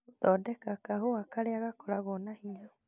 gũthondeka kahũa karĩa gakoragwo na hinya